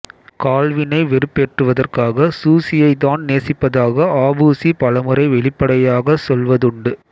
கால்வினை வெறுப்பேற்றுவதற்காக சூசியை தான் நேசிப்பதாக ஆபுசு பலமுறை வெளிப்படையாகச் சொல்வதுண்டு